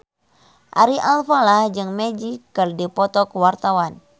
Ari Alfalah jeung Magic keur dipoto ku wartawan